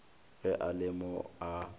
ge a le mo a